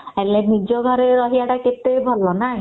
ହେଲେ ନିଜ ଘରେ ରହିବାଟା କେତେ ଭଲ ନା